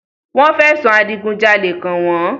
Wọ́n fẹ̀sùn Adigun jalè kan wọ́n